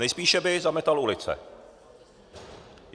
Nejspíše by zametal ulice.